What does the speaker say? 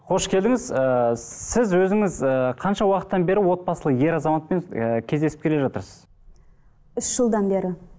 қош келдіңіз ыыы сіз өзіңіз ыыы қанша уақыттан бері отбасылы ер азаматпен ыыы кездесіп келе жатырсыз үш жылдан бері